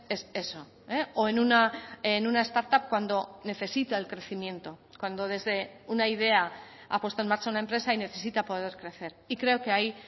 es eso o en una startup cuando necesita el crecimiento cuando desde una idea ha puesto en marcha una empresa y necesita poder crecer y creo que ahí